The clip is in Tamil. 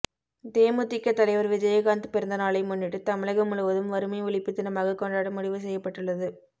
தேமுதிக தலைவர் விஜயகாந்த் பிறந்தநாளை முன்னிட்டு தமிழகம் முழுவதும் வறுமை ஒழிப்பு தினமாக கொண்டாட முடிவு செய்யப்பட்டுள்ளது